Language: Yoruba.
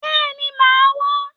Béèni màá wá